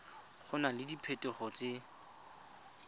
go na le diphetogo tse